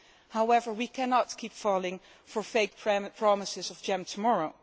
However, we cannot keep falling for fake promises of jam tomorrow.